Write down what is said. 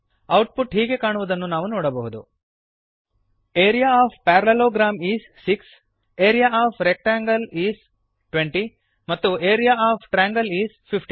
output ಹೀಗೆ ಕಾಣುವುದನ್ನು ನಾವು ನೋಡಬಹುದು area of parallelogram is 6 area of rectangle is 20 ಮತ್ತು ಆರಿಯಾ ಒಎಫ್ ಟ್ರಯಾಂಗಲ್ ಇಸ್ 15